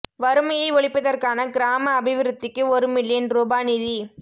வறுமையை ஒழிப்பதற்கான கிராம அபிவிருத்திக்கு ஒரு மில்லியன் ரூபா நிதி